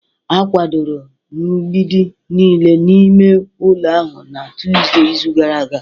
A kwadoro mgbidi niile n'ime ụlọ ahụ na Tọzdee izu gara aga